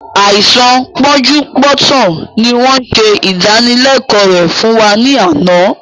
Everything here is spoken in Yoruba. Àìsàn pọ́njú-pọ́ntọ̀ ni wọn ṣe ìdánilẹ̀kọ̀ rẹ fún wa ní àná